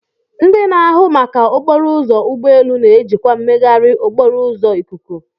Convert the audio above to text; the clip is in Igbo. Ndị na-ahụ maka okporo ụzọ ụgbọ elu na-ejikwa mmegharị okporo ụzọ ikuku.